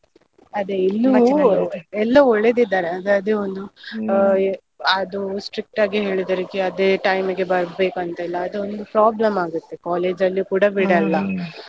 ಎಲ್ಲ ಒಳ್ಳೆದಿದ್ದಾರೆ ಅಂದ್ರೆ ಅದೇ ಒಂದು ಅದು strict ಆಗಿ ಹೇಳಿದಾರೆ ಅದೇ time ಗೆ ಬರ್ಬೇಕು ಅಂತ ಎಲ್ಲ ಅದೊಂದು problem ಆಗುತ್ತೆ college ಅಲ್ಲಿ ಕೂಡ ಬಿಡಲ್ಲ.